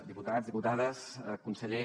diputats diputades conseller